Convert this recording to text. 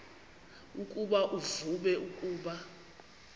ukuba uvume ukuba